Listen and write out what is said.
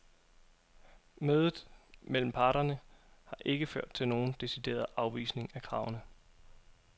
Mødet mellem parterne har ikke ført til nogen decideret afvisning af kravene.